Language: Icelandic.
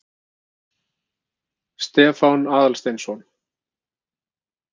Stefán Aðalsteinsson.